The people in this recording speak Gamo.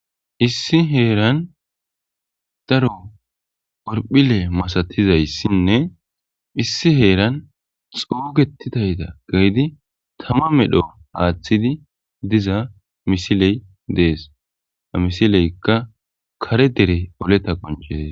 Issi heeran daro orphile masatizayssinne issi heeran xuugetitayta gaydi tama medho haaththidi diza misiley dees amisileykka kare dere oleta qoncezees.